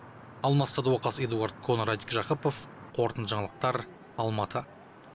алмас садуақас эдуарад кон радик жақыпов қорытынды жаңалықтар алматы